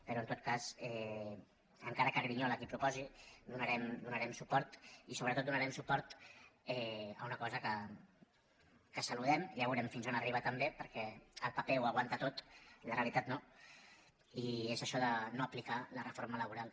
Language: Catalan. però en tot cas encara que grinyoli qui ho proposa hi donarem suport i sobretot donarem suport a una cosa que saludem ja veurem fins on arriba també perquè el paper ho aguanta tot la realitat no i és això de no aplicar la reforma laboral